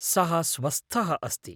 सः स्वस्थः अस्ति।